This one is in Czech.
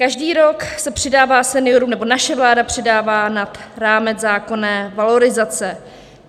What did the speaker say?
Každý rok se přidává seniorům, nebo naše vláda přidává nad rámec zákonné valorizace.